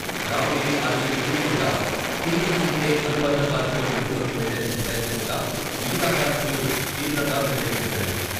Ramagiri R G three వద్ద TBGK అనుబంధ కార్మికులు విధుల్లోకి వెళ్లేందుకు ప్రయత్నించగా మిగతా కార్మికులు తీవ్రంగా వ్యతిరేకించారు.